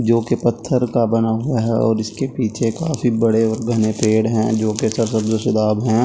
जो कि पत्‍थर का बना हुआ है और इसके पीछे काफी बड़े और घने पेड़ हैं जो कि हैं।